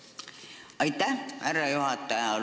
Aitäh, härra juhataja!